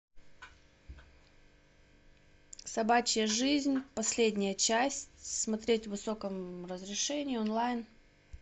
собачья жизнь последняя часть смотреть в высоком разрешении онлайн